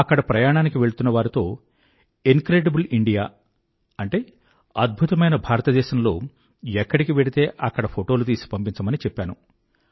అక్కడ ప్రయాణానికి వెళ్తున్న వారితో ఇన్క్రెడిబుల్ ఇండియా అద్భుతమైన భారతదేశం లో ఎక్కడికి వెళ్తే అక్కడ ఫోటోలు తీసి పంపించమని చెప్పాను